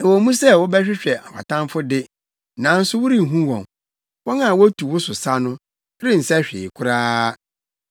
Ɛwɔ mu sɛ wobɛhwehwɛ wʼatamfo de, nanso worenhu wɔn. Wɔn a wotu wo so sa no rensɛ hwee koraa.